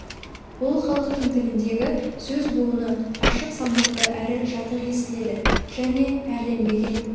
ол халықтың тіліндегі сөз буыны ашық салмақты әрі жатық естіледі және әрленбеген